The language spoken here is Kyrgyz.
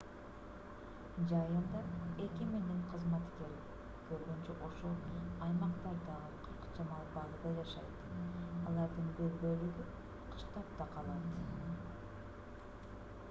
жайында эки миңдей кызматкер көбүнчө ошол аймактардагы кырк чамал базада жашайт алардын бир бөлүгү кыштап да калат